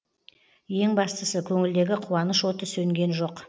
ең бастысы көңілдегі қуаныш оты сөнген жоқ